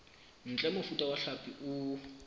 ntle mofuta wa hlapi o